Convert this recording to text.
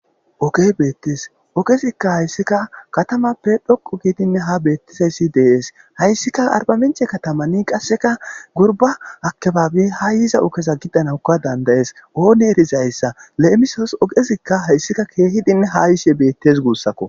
ogey beettes ogezikka hayssika katamappe dhoqu gidinn ha beettizayssi dees hayssika arbamenche katamanni qasseka gurba akebaabe ha yiza okeza giddanawukka dandayees oone erizayssa le7emisos ogezikka hayssika keehidinn ha yishe beettes guussakko